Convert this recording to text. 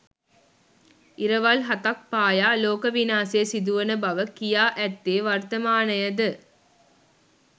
ඉරවල් හතක් පායා ලෝක විනාශය සිදුවන බව කියා ඇත්තේ වර්තමානයද?